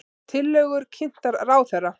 Tillögur kynntar ráðherra